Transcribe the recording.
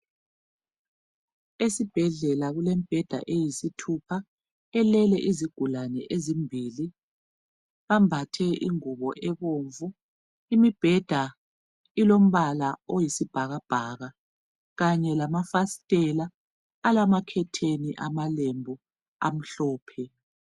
Esibhedlela kulembheda eyisithupha elele izigulane ezimbili, bambathe ingubo ebomvu. Imibheda ilombala oyisibhakabhaka kanye lamafasitela alamakhetheni amalembu amhlophe.